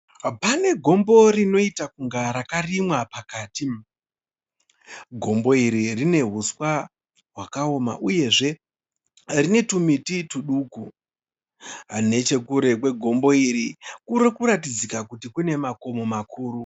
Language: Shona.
Panegombo rinoita kunge rakarima pakati. Gombo iri rinehuswa hwakaoma uyezve rinetumiti tuduku. Nechekure kwegombo iri kurikuratidzika kuti kune makomo makuru.